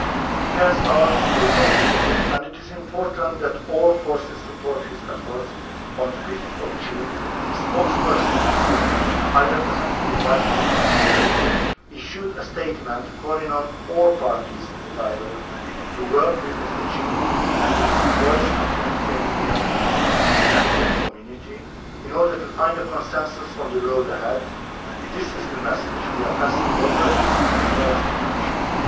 He has our full confidence and it is important that all forces support his efforts. On 5 June the spokesperson of High Representative Vice President Mogherini issued a statement calling on all parties in the dialogue to work with Mr Djinnit and with the envoys of the African Union and the East African Community in order to find a consensus on the road ahead. This is the message we are giving out locally, as well as internationally.